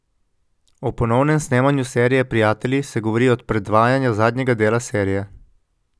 O ponovnem snemanju serije Prijatelji se govori od predvajanja zadnjega dela serije.